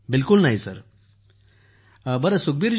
सुप्रीत जीः बिलकुल सर बिलकुल ।